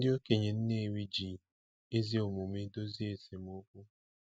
Ndị okenye Nnewi ji ezi omume dozie esemokwu.